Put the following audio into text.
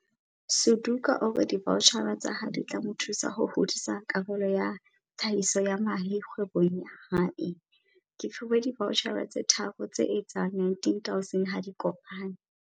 Suduka o re divaotjhara tsa hae di tla mo thusa ho hodisa karolo ya tlhahiso ya mahe kgwebong ya hae. "Ke fuwe divaotjhara tse tharo tse etsang R19 000 ha di kopane."